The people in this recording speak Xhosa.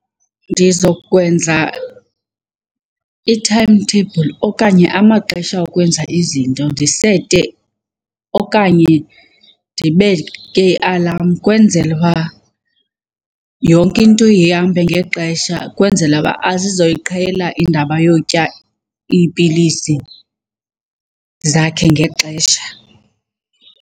Ndizokwenza i-timetable okanye amaxesha okwenza izinto ndisete okanye ndibeke i-alarm kwenzela uba yonke into ihambe ngexesha kwenzela uba aze azoyiqhela indaba yotya iipilisi zakhe ngexesha.